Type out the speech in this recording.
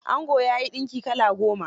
Angon ya yi dinki kala goma.